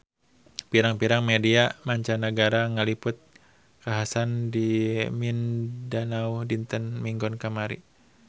Pirang-pirang media mancanagara ngaliput kakhasan di Mindanao dinten Minggon kamari